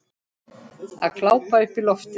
Að glápa upp í loftið.